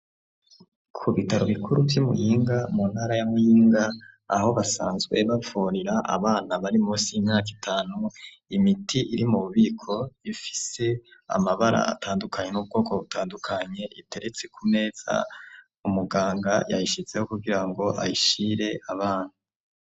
Ku bitaro bikuru vy'i Muyinga, mu ntara ya Muyinga, aho basanzwe bavurira abana, bari munsi y'imyaka itanu, imiti iri mu bubiko, ifise amabara atandukanye, n'ubwoko butandukanye; iteretse ku meza umuganga yayishizeho, kugira ngo ayishire abana.